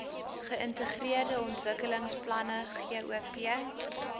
geïntegreerde ontwikkelingsplanne gop